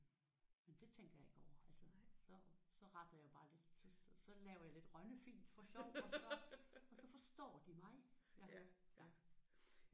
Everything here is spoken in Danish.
Men det tænker jeg ikke over altså så så retter jeg bare lidt så så laver jeg lidt Rønnefint og så forstår de mig